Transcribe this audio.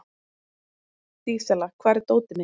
Dísella, hvar er dótið mitt?